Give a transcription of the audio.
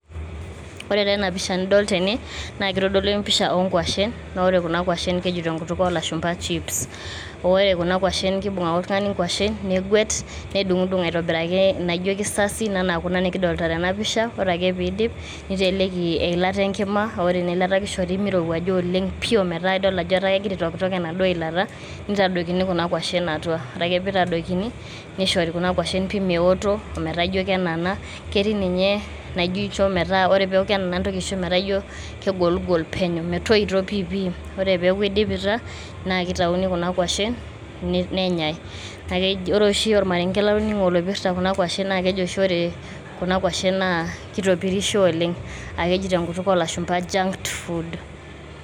Ore taa ena pisha nidol tene naa kitodolu empisha oonkwashen naa ore kuna kwashen keji tenkutuk oolashumba chips .naa ore kuna kwashen kibung ake oltungani kwashen negwet, nedungdung aitobiraki naijo kisasin ena kuna nikidolta tena pisha ore ake pidip niteleki eilata enkima ore ina ilata kishori mirowuaja pi ometaa idol ajo kegira aitoktok enaduoo ilata nitadoikini kuna kwashen atua. ore ake pee itadoikini nishori kuna kwashen pi meotok metaa ijo kenana ketii ninye naijo kenana nintoki aisho metaa ijo kegoligol peno metoito piipi. ore peaku idipita naa kitayuni kuna kwashen nenyae .ore oshi ormarenke latoningo loipirta kuna kwashen naa keji oshi ore kuna kwashen naa kitopirisho oleng aah keji tenkutuk oolashumba junk food.